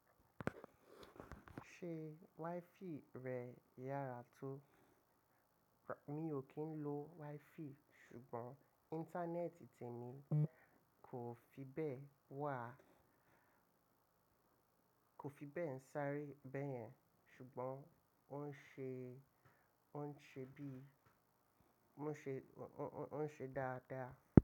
Ṣé WiFi rẹ yàrá tó? Mi ò kí ń lo WiFi ṣùgbọ́n Íńtánẹ́ẹ̀tì tèmi kò fi bẹ́ẹ̀ wà, kò fi bẹ́ẹ̀ ń sáré bẹ́yẹn ṣùgbọ́n ó ń ṣe, ó ń ṣe bí, ó ń ṣe dáadáa.